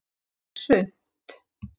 Ekki bara sumt.